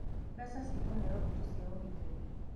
mbeca ikũheyo mbũtu cia ũgitĩri.